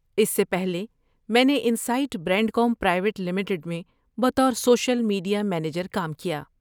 اس سے پہلے، میں نے انسائٹ برینڈکوم پرائیویٹ لمیٹڈ میں بطور سوشل میڈیا منیجر کام کیا۔